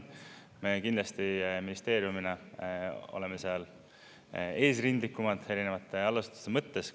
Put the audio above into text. Me kindlasti ministeeriumina oleme eesrindlikumad erinevate algatuste mõttes.